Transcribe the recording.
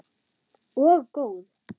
Og góð.